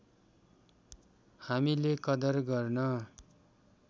हामीले कदर गर्न